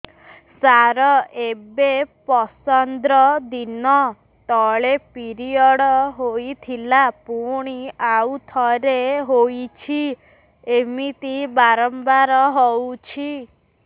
ସାର ଏବେ ପନ୍ଦର ଦିନ ତଳେ ପିରିଅଡ଼ ହୋଇଥିଲା ପୁଣି ଆଉଥରେ ହୋଇଛି ଏମିତି ବାରମ୍ବାର ହଉଛି